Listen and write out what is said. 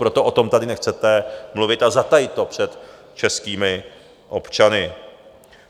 Proto o tom tady nechcete mluvit a zatajit to před českými občany.